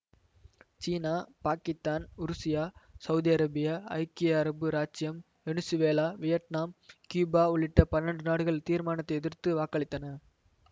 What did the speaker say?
சீனா பாக்கித்தான் உருசியா Saudi Arabia ஐக்கிய அரபு இராச்சியம் வெனிசுவேலா வியட்நாம் கியூபா உள்ளிட்ட பன்னெண்டு நாடுகள் தீர்மானத்தை எதிர்த்து வாக்களித்தன